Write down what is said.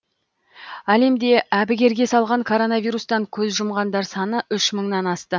әлемді әбігерге салған коронавирустан көз жұмғандар саны үш мыңнан асты